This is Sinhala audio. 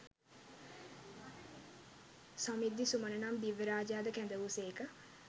සමිද්ධි සුමන නම් දිව්‍ය රාජයා ද කැඳ වූ සේක.